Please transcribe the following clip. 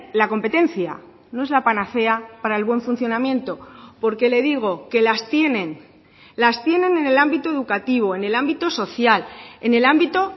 la competencia no es la panacea para el buen funcionamiento porque le digo que las tienen las tienen en el ámbito educativo en el ámbito social en el ámbito